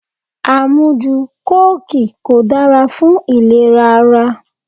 Amuju kóòki kò dára fún ìlera ara.